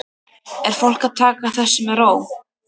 Er fólk að taka þessu með ró?